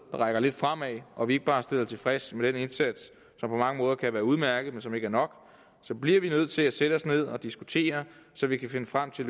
rækker lidt fremad og vi ikke bare stiller os tilfreds med den indsats som på mange måder kan være udmærket men som ikke er nok bliver vi nødt til at sætte os ned og diskutere så vi kan finde frem til